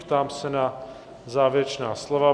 Ptám se na závěrečná slova?